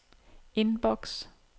inbox